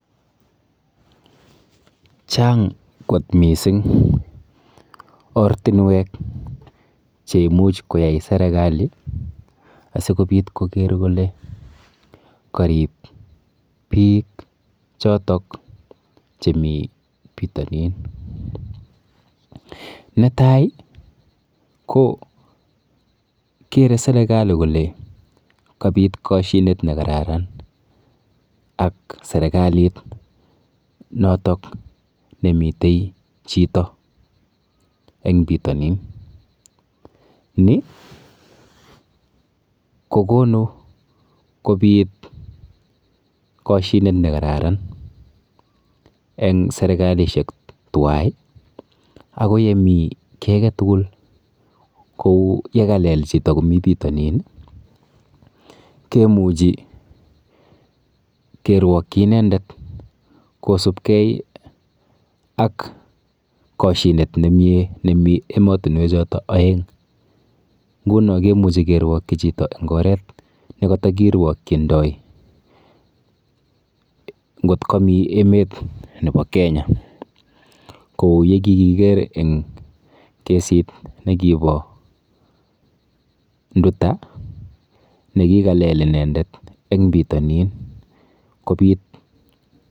Chang kot mising ortinwek cheimuch koyai serikali asikobit koker kole karip biik chotok chemi pitonin. Netai kokere serikali kole kapit kashinet nekararan ak serikalit notok nemite chito eng pitonin. Ni kokonu kobit koshinet nekararan eng serikalishek tuwai ako yemi kiy aketugul kou yekalel chito komi pitonin kemuchi kirwokyi inendet kosubkei ak kashinet nemie nemi eng emotinwechoto oeng. Nguno kemuchi kerwokchi chito eng oret nekatakirwokchindoi nkot kami emet nepo Kenya kou yekikiker eng kesit nekipo Nduta nekikalel inendet eng pitonin kopit..